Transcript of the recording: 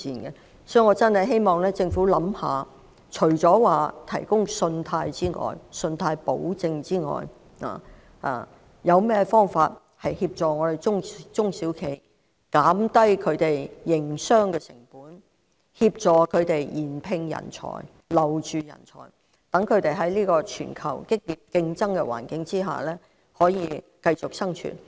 因此，我真的希望政府可以考慮，除了提供信貸保證之外，還有甚麼方法去協助中小企，減低他們的營商成本，協助他們聘請及留住人才，讓他們得以在全球競爭激烈的環境下繼續生存。